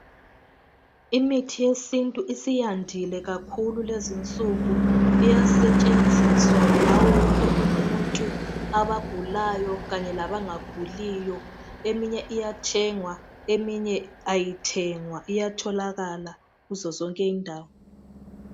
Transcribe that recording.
Imithi yesintu isiyandile kakhulu lezi nsuku iyasetshenziswa ngawo wonke umuntu abagulayo kanye labangaguliyo . Eminye iyathengwa eminye ayithengwa iyatholakala kuzozonke indawo.